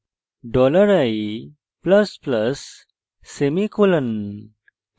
dollar i plus plus semicolon